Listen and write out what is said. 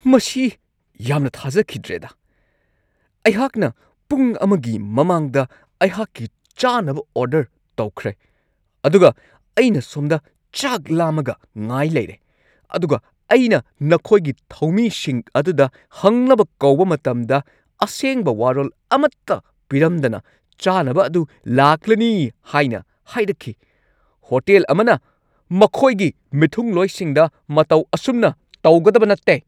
ꯃꯁꯤ ꯌꯥꯝꯅ ꯊꯥꯖꯈꯤꯗ꯭ꯔꯦꯗꯥ! ꯑꯩꯍꯥꯛꯅ ꯄꯨꯡ ꯑꯃꯒꯤ ꯃꯃꯥꯡꯗ ꯑꯩꯍꯥꯛꯀꯤ ꯆꯥꯅꯕ ꯑꯣꯔꯗꯔ ꯇꯧꯈ꯭ꯔꯦ, ꯑꯗꯨꯒ ꯑꯩꯅ ꯁꯣꯝꯗ ꯆꯥꯛ ꯂꯥꯝꯃꯒ ꯉꯥꯏ ꯂꯩꯔꯦ ꯫ ꯑꯗꯨꯒ ꯑꯩꯅ ꯅꯈꯣꯏꯒꯤ ꯊꯧꯃꯤꯁꯤꯡ ꯑꯗꯨꯗ ꯍꯪꯅꯕ ꯀꯧꯕ ꯃꯇꯝꯗ, ꯑꯁꯦꯡꯕ ꯋꯥꯔꯣꯜ ꯑꯃꯠꯇ ꯄꯤꯔꯝꯗꯅ ꯆꯥꯅꯕ ꯑꯗꯨ ꯂꯥꯛꯂꯅꯤ ꯍꯥꯏꯅ ꯍꯥꯏꯔꯛꯈꯤ ꯫ ꯍꯣꯇꯦꯜ ꯑꯃꯅ ꯃꯈꯣꯏꯒꯤ ꯃꯤꯊꯨꯡꯂꯣꯏꯁꯤꯡꯗ ꯃꯇꯧ ꯑꯁꯨꯝꯅ ꯇꯧꯒꯗꯕ ꯅꯠꯇꯦ ꯫